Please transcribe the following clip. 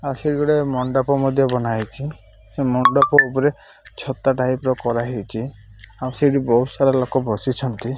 ଆଉ ସେଇଠି ଗୋଟାଏ ମଣ୍ଡପ ମଧ୍ୟ ବନା ହେଇଚି ସେ ମଣ୍ଡପ ଉପରେ ଛତା ଟାଇପ୍ ର କରାହେଇଛି ଆଉ ସେଠି ବହୁତ ସାରା ଲୋକ ବସିଛନ୍ତି।